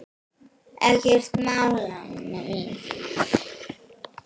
Ekkert mál, Anna mín.